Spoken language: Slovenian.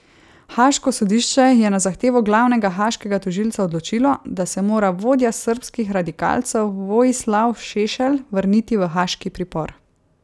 Haaško sodišče je na zahtevo glavnega haaškega tožilca odločilo, da se mora vodja srbskih radikalcev Vojislav Šešelj vrniti v haaški pripor.